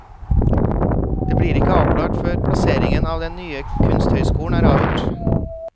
Det blir ikke avklart før plasseringen av den nye kunsthøyskolen er avgjort.